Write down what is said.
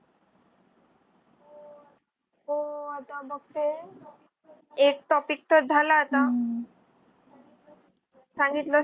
हो. आता बघते एक topic चा झाला आता. सांगितला